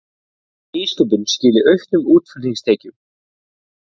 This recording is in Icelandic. Nýsköpun skili auknum útflutningstekjum